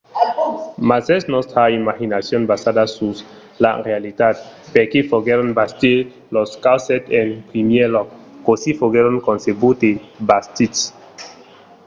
mas es nòstra imaginacion basada sus la realitat? perqué foguèron bastits los castèls en primièr lòc? cossí foguèron concebuts e bastits?